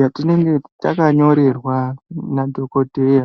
yatinenge takanyorerwa nadhokodheya .